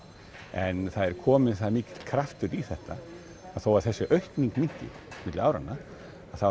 en það er kominn það mikill kraftur í þetta að þó þessi aukning minnki milli áranna þá